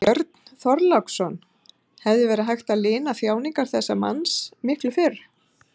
Björn Þorláksson: Hefði verið hægt að lina þjáningar þessa manns miklu fyrr?